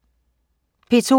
P2: